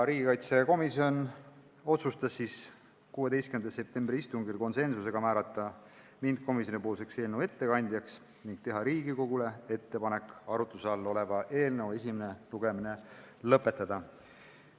Riigikaitsekomisjon otsustas 16. septembri istungil määrata mind eelnõu ettekandjaks ning teha Riigikogule ettepaneku arutluse all oleva eelnõu esimene lugemine lõpetada.